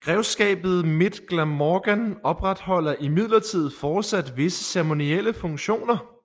Grevskabet Mid Glamorgan opretholder imidlertid forsat visse ceremonielle funktioner